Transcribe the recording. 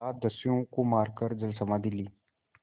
सात दस्युओं को मारकर जलसमाधि ली